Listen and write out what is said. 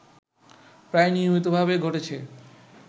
প্রায় নিয়মিতভাবে ঘটেছে